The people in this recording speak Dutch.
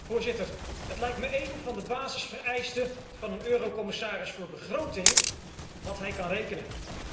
Voorzitter, het lijkt me één van de basisvereisten van een eurocommissaris voor begroting dat hij kan rekenen.